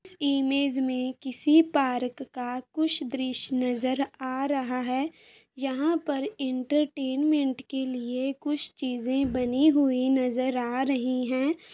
Image में किसी park का कुछ दृश्य नजर आ रहा है यहां पर एंटरटेनमेंट के लिए कुछ चीज़े बनी हुई नजर आ रही हैं ।